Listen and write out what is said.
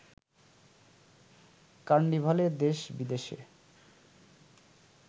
কার্নিভালে দেশ বিদেশের